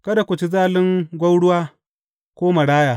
Kada ku ci zalin gwauruwa, ko maraya.